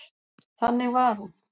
Þannig var hún.